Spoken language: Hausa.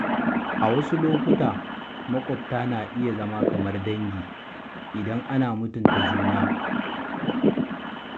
A wasu lokuta, maƙwabta na iya zama kamar dangi idan ana mutunta juna.